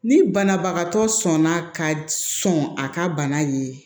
Ni banabagatɔ sɔnna ka sɔn a ka bana ye